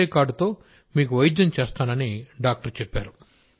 అదే కార్డుతో మీకు వైద్యం చేస్తానని డాక్టర్ చెప్పారు